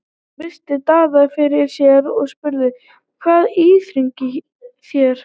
Hún virti Daða fyrir sér og spurði:-Hvað íþyngir þér?